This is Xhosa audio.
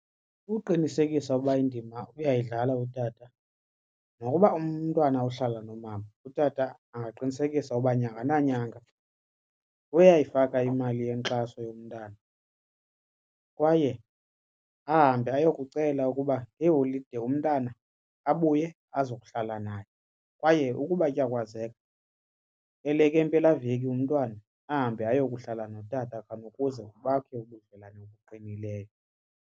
Kukuqinisekisa ukuba indima uyayidlala utata nokuba umntwana uhlala nomama utata makaqinisekise uba nyanga nanyanga uyayifaka imali yenkxaso yomntana kwaye ahambe ayokucela ukuba ngeeholide umntana abuye azokuhlala naye. Kwaye ukuba kuyakwazeka elekempelaveki umntwana ahambe ayokuhlola notata khonukuze bakhe ubudlelwane obuqinileyo.